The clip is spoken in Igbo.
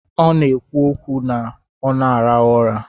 Ọ na-ekwu okwu ka ọ na-arahụ ụra.